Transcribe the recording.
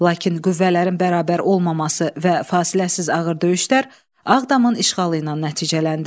Lakin qüvvələrin bərabər olmaması və fasiləsiz ağır döyüşlər Ağdamın işğalı ilə nəticələndi.